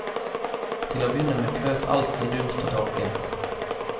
Til å begynne med fløt alt i dunst og tåke.